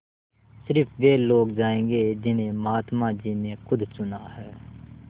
स़िर्फ वे लोग जायेंगे जिन्हें महात्मा जी ने खुद चुना है